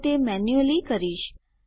તો તે મેન્યુઅલી કરીશ